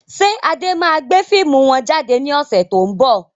Ṣé Adé máa gbé fíìmù wọn jáde ní ọ̀sẹ̀ to ń bọ̀?